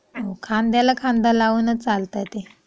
हो खांद्याला खांदा लावून चा चालतंय ते.